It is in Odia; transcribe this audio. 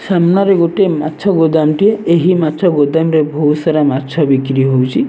ସାମ୍ନାରେ ଗୋଟେ ମାଛ ଗୋଦାମ ଟି ଏହି ମାଛ ଗୋଦାମ ରେ ବହୁତ ସାରା ମାଛ ବିକ୍ରି ହୋଉଛି।